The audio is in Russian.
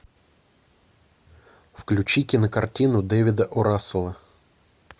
включи кинокартину дэвида о расселла